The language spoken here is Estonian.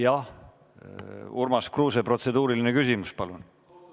Jah, Urmas Kruuse, protseduuriline küsimus, palun!